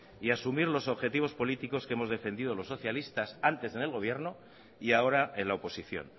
y asumir los objetivos políticos que hemos defendido los socialistas antes en el gobierno y ahora en la oposición